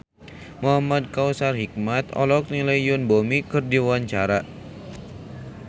Muhamad Kautsar Hikmat olohok ningali Yoon Bomi keur diwawancara